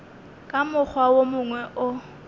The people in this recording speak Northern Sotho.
ka mokgwa wo mongwe o